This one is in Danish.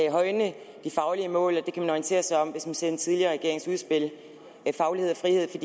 at højne de faglige mål og det kan man orientere sig om hvis man ser den tidligere regerings udspil faglighed og frihed for